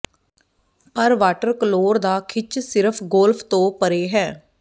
ਪਰ water colour ਦਾ ਖਿੱਚ ਸਿਰਫ ਗੋਲਫ ਤੋਂ ਪਰੇ ਹੈ